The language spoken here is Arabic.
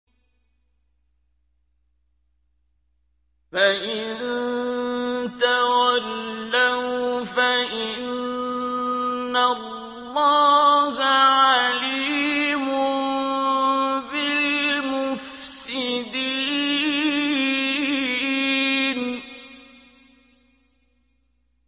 فَإِن تَوَلَّوْا فَإِنَّ اللَّهَ عَلِيمٌ بِالْمُفْسِدِينَ